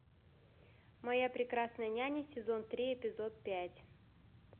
моя прекрасная няня сезон три эпизод пять